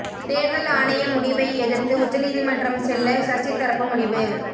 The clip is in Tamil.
தேர்தல் ஆணைய முடிவை எதிர்த்து உச்சநீதிமன்றம் செல்ல சசி தரப்பு முடிவு